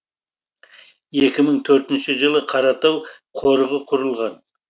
екі мың төртінші жылы қаратау қорығы құрылған